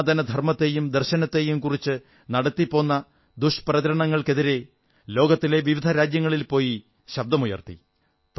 സനാതന ധർമ്മത്തെയും ദർശനത്തെയും കുറിച്ച് നടത്തിപ്പോന്ന ദുഷ്പ്രചരണങ്ങൾക്കെതിരെ ലോകത്തിലെ വിവിധ രാജ്യങ്ങളിൽ പോയി ശബ്ദമുയർത്തി